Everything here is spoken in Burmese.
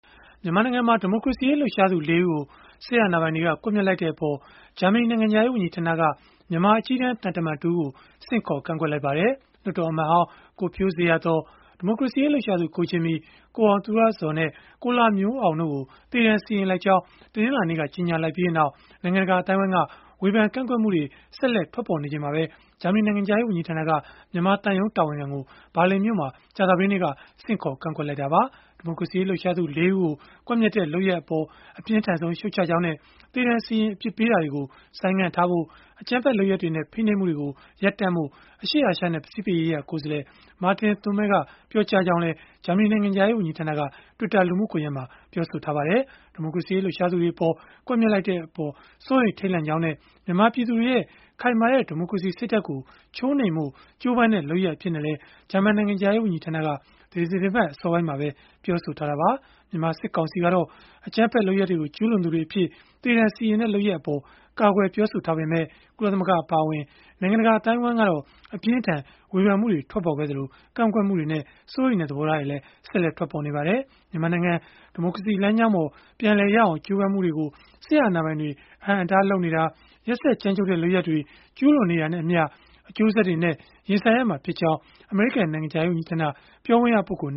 မြန်မာနိုင်ငံမှာ ဒီမိုကရေစီရေး လှုပ်ရှားသူ ၄ ဦးကို စစ်အာဏာပိုင်တွေက ကွပ်မျက်လိုက်တဲ့အပေါ် ဂျာမနီနိုင်ငံခြားရေး ဝန်ကြီးဌာနက မြန်မာအကြီးတန်း သံတမန်တဦးကို ဆင့်ခေါ်ကန့်ကွက်လိုက်ပါတယ်။ လွှတ်တော်အမတ်ဟောင်း ကိုဖြိုးဇေယျာသော်၊ ဒီမိုကရေစီရေး လှုပ်ရှားသူ ကိုဂျင်မီ၊ ကိုအောင်သူရဇော်နဲ့ ကိုလှမျိုးအောင်တို့ကို သေဒဏ်စီရင်လိုက်ကြောင်း တနင်္လာနေ့က ကြေညာလိုက်ပြီးနောက် နိုင်ငံတကာ အသိုင်းအဝိုင်းက ဝေဖန်ကန့်ကွက်မှုတွေ ဆက်လက်ထွက်ပေါ်နေချိန်မှာပဲ ဂျာမနီနိုင်ငံခြားရေး ဝန်ကြီးဌာနက မြန်မာသံရုံးတာဝန်ခံကို ဘာလင်မြို့မှာ ကြာသပတေးနေ့က ဆင့်ခေါ်ကန့်ကွက်ခဲ့တာပါ။ ဒီမိုကရေစီရေးလှုပ်ရှားသူ ၄ ဦးကို ကွပ်မျက်တဲ့ လုပ်ရပ်အပေါ် အပြင်းထန်ဆုံး ရှုတ်ချကြောင်းနဲ့ သေဒဏ်စီရင် အပြစ်ပေးတာတွေကို ဆိုင်းငံ့ဖို့၊ အကြမ်းဖက်လုပ်ရပ်တွေနဲ့ ဖိနှိပ်မှုတွေကို ရပ်တန့်ဖို့ အရှေ့အာရှနဲ့ ပစိဖိတ်ရေးရာ ကိုယ်စားလှယ် Martin Thuemmel က ပြောကြားခဲ့ကြောင်း ဂျာမနီနိုင်ငံခြားရေးဝန်ကြီးဌာနက Twitter လူမှုကွန်ရက်မှာ ပြောဆိုခဲ့ပါတယ်။ ဒီမိုကရေစီရေး လှုပ်ရှားသူတွေအပေါ် ကွပ်မျက်လိုက်တဲ့အပေါ် စိုးရိမ်ထိတ်လန့်မိကြောင်းနဲ့ မြန်မာပြည်သူတွေရဲ့ ခိုင်မာတဲ့ ဒီမိုကရေစီ စိတ်ဓာတ်ကို ချိုးနှိမ်ဖို့ ကြိုးပမ်းတဲ့ လုပ်ရပ်အဖြစ်နဲ့လည်း ဂျာမန်နိုင်ငံခြားရေးဝန်ကြီးဌာနက ဒီသီတင်းပတ် အစောပိုင်းမှာပဲ ပြောဆိုထားတာပါ။ မြန်မာစစ်ကောင်စီကတော့ အကြမ်းဖက်လုပ်ရပ်တွေကို ကျုးလွန်သူတွေအဖြစ် သေဒဏ်စီရင်တဲ့ လုပ်ရပ်အပေါ် ကာကွယ်ပြောဆိုထားပေမဲ့ ကုလသမဂ္ဂအပါအဝင် နိုင်ငံတကာ အသိုင်းအဝိုင်းကတော့ အပြင်းအထန် ဝေဖန်မှုတွေ ထွက်ပေါ်ခဲ့သလို ကန့်ကွက်မှုတွေနဲ့ စိုးရိမ်တဲ့ သဘောထားတွေလည်း ဆက်လက်ထွက်ပေါ်နေပါတယ်။ မြန်မာနိုင်ငံ ဒီမိုကရေစီလမ်းကြောင်းပေါ် ပြန်ရောက်အောင် ကြိုးပမ်းမှုတွေကို စစ်အာဏာပိုင်တွေ အဟန့်အတားလုပ်နေတာ၊ ရက်စက်ကြမ်းကြုတ်တဲ့ လုပ်ရပ်တွေ ကျုးလွန်နေတာနဲ့အမျှ အကျိုးဆက်တွေနဲ့ ရင်ဆိုင်ရမှာဖြစ်ကြောင်း အမေရိကန် နိုင်ငံခြားရေး ဝန်ကြီးဌာန ပြောခွင့်ရပုဂ္ဂိုလ်